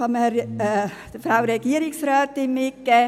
das möchte ich der Frau Regierungsrätin einfach mitgeben.